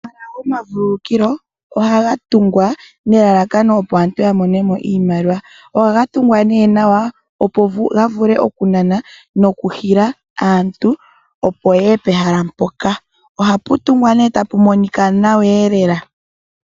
Omahala gomavululukilo ohaga tungwa nelalakano opo aantu ya mone mo iimaliwa. Ohaga tungwa nawa, opo ga vule okunana nokuhila aantu, opo ye ye pehala mpoka. Ohapu tungwa ta pu monika nawa lela.